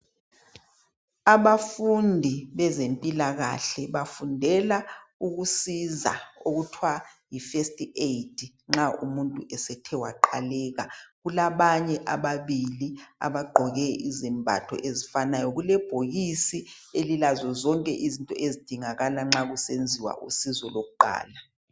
Abafundi bezempilakahle bafundela ukusiza okuthwa yo first aid nxa umuntu ethe waqaleka kulabanye ababili abagqoke izembatho ezifananayo. Kulebhokisi zonke izinto ezidingakala nxa kusenziwa usizo lokuqala.